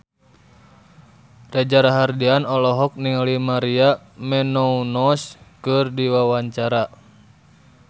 Reza Rahardian olohok ningali Maria Menounos keur diwawancara